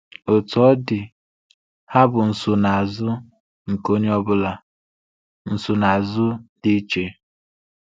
Otú ọ dị, ha bụ nsonaazụ nke onye ọbụla, nsonaazụ dị iche.